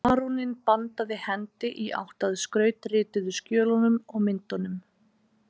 Baróninn bandaði hendi í átt að skrautrituðu skjölunum og myndunum